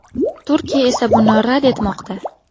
Turkiya esa buni rad etmoqda.